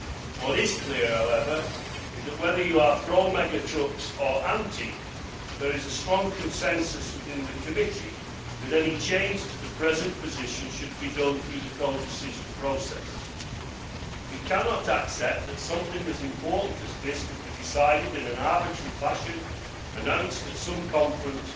What is clear however is that whether you are pro mega trucks or anti there is a strong consensus within the committee that any change to the present position should be done through the codecision process. We cannot accept that something as important as this can be decided in an arbitrary fashion, announced at some conference